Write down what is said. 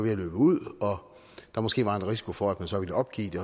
at løbe ud og der måske var risiko for at man så vil opgive det